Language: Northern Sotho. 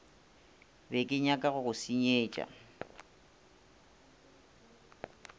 be kenyaka go go senyetša